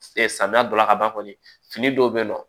Samiya dɔ la ka ban kɔni fini dɔw bɛ yen nɔ